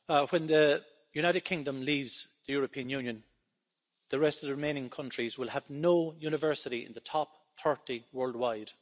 Mr President, when the United Kingdom leaves the European Union, the rest of the remaining countries will have no university in the top 30 worldwide.